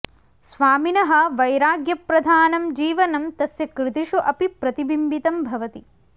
स्वामिनः वैराग्यप्रधानं जीवनं तस्य कृतिषु अपि प्रतिम्बितं भवति